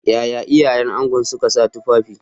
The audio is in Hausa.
Yaya iyayen ango suka sa tufafi?